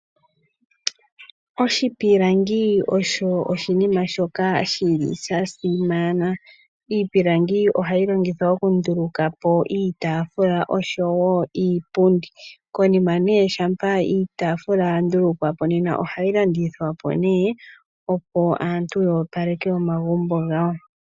Oshipilangi osho oshinima shoka shili shasimana . Iipilangi ohayi longithwa oku ndulukapo iipundi oshowoo iitaafula. Konima ngele iitaafula nena ohayi landithwa po opo aantu yoopaleke omagumbo gawo.